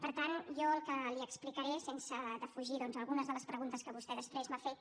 per tant jo el que li explicaré sense defugir doncs algunes de les preguntes que vostè després m’ha fet